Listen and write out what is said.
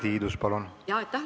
Aitäh, lugupeetud juhataja!